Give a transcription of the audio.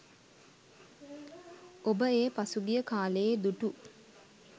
ඔබ ඒ පසුගිය කාලයේ දුටු